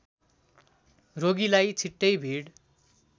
रोगीलाई छिटै भिड